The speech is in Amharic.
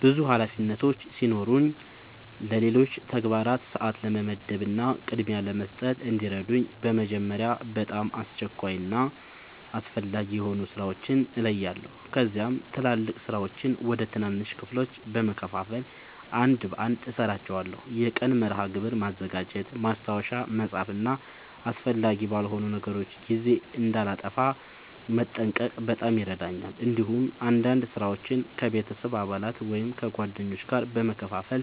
ብዙ ኃላፊነቶች ሲኖሩኝ ለሌሎች ተግባራት ሰአት ለመመደብ እና ቅድሚያ ለመስጠት እንዲረዳኝ በመጀመሪያ በጣም አስቸኳይ እና አስፈላጊ የሆኑ ሥራዎችን እለያለሁ። ከዚያም ትላልቅ ሥራዎችን ወደ ትናንሽ ክፍሎች በመከፋፈል አንድ በአንድ እሠራቸዋለሁ። የቀን መርሃ ግብር ማዘጋጀት፣ ማስታወሻ መጻፍ እና አስፈላጊ ባልሆኑ ነገሮች ጊዜ እንዳላጠፋ መጠንቀቅ በጣም ይረዳኛል። እንዲሁም አንዳንድ ሥራዎችን ከቤተሰብ አባላት ወይም ከጓደኞች ጋር በመካፈል